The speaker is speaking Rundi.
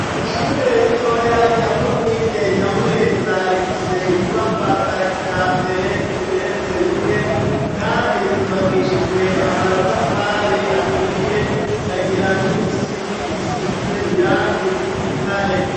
Ishure ritoya rya komine Nyamurenza, rifise inyubakwa za kijambere, zigeretse rimwe, kandi zubakishijwe Amatafari aturiye, kagira n'Imisipi isize Irangi ry'Igitare.